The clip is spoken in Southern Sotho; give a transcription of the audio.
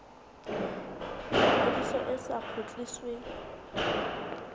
ya ngodiso e sa kgutlisweng